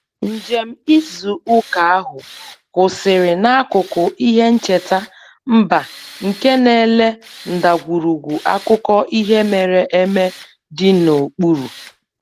Njem izu ụka ahụ kwụsịrị n'akụkụ ihe ncheta mba nke na-ele ndagwurugwu akụkọ ihe mere eme dị n'okpuru